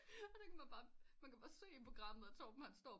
Og det kan man bare man kan bare se i programmet at Torben han står